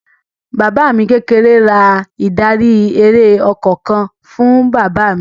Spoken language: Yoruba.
Bàbá mi kékeré ra ìdarí-eré ọkọ̀ kan fún bàbá mi.